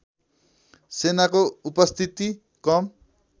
सेनाको उपस्थिति कम